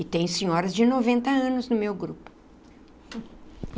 E tem senhoras de noventa anos no meu grupo.